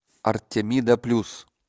артемида плюс